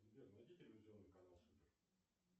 сбер найди телевизионный канал супер